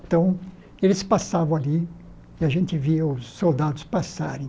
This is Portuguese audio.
Então, eles passavam ali e a gente via os soldados passarem.